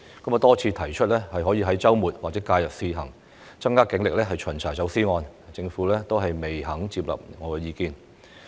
我多次提出可在周末或假日試行，增加警力巡查走私案件，但政府仍未接納我的意見。